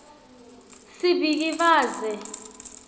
sibhikivaze